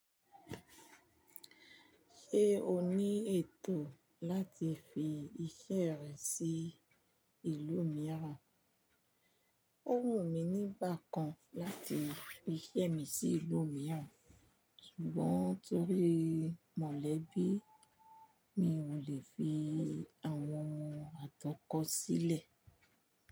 Ṣé o ní ètò láti fi iṣẹ́ rẹ sí ìlú mìíràn? Ó wù mí ní bákan láti fi iṣẹ́ mi sí ìlú mìíràn, ṣùgbọ́n torí mọ̀lẹ́bí mi ò lè fi àwọn atọ́kọ̀ sílẹ̀.